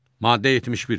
Maddə 71.